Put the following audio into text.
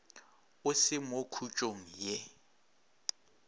o se mo khutšong ye